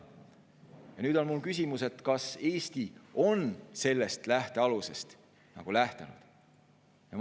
Ja nüüd on mul küsimus: kas Eesti on sellest lähtealusest nagu lähtunud?